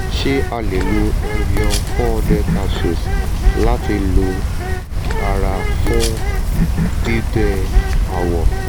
ṣé a lè lo evion four hundred capsules láti lo ara fún gbígbẹ́ awọ?